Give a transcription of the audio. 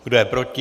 Kdo je proti?